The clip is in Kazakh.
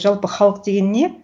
жалпы халық деген не